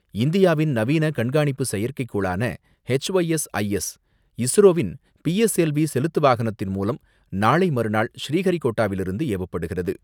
இந்தியாவின் நவீன கண்காணிப்பு செயற்கைக் கோளான H Y S I S, இஸ்ரோவின் பி எஸ் எல் வி செலுத்து வாகனத்தின் மூலம் நாளை மறுநாள் ஸ்ரீஹரிகோட்டாவிலிருந்து ஏவப்படுகிறது.